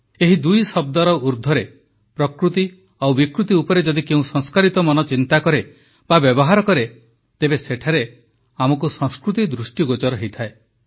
ଏହି ଦୁଇ ଶବ୍ଦ ଊଦ୍ଧ୍ୱର୍ରେ ପ୍ରକୃତି ଓ ବିକୃତି ଉପରେ ଯଦି କେଉଁ ସଂସ୍କାରିତମନ ଚିନ୍ତା କରେ ବା ବ୍ୟବହାର କରେ ତେବେ ସେଠାରେ ଆମକୁ ସଂସ୍କୃତି ଦୃଷ୍ଟିଗୋଚର ହୁଏ